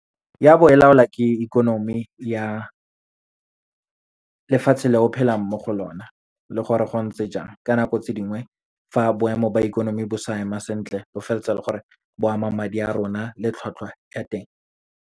Ya bo e laolwa ke ikonomi ya lefatshe le o phelang mo go lona, le gore go ntse jang. Ka nako tse dingwe, fa boemo ba ikonomi bo sa ema sentle, bo feletsa e le gore bo ama madi a rona le tlhwatlhwa ya teng.